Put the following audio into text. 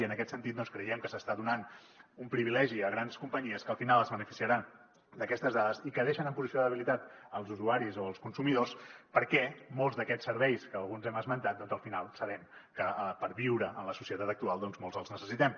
i en aquest sentit creiem que s’està donant un privilegi a grans companyies que al final es beneficiaran d’aquestes dades i que deixen en posició de debilitat els usuaris o els consumidors perquè molts d’aquests serveis que alguns hem esmentat al final sabem que per viure en la societat actual molts els necessitem